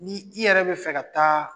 Ni i yɛrɛ be fɛ ka taa